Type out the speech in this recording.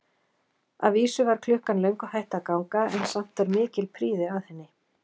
Að vísu var klukkan löngu hætt að ganga, en samt var mikil prýði að henni.